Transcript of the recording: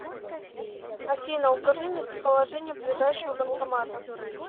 афина укажи местоположение ближайшего банкомата